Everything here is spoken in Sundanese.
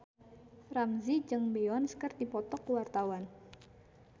Ramzy jeung Beyonce keur dipoto ku wartawan